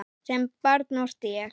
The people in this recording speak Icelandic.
Sem barn orti ég.